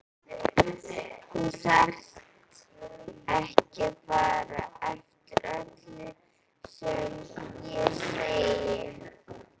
Þú þarft ekki að fara eftir öllu sem ég segi